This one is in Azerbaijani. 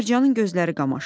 Mərcanın gözləri qamaşdı.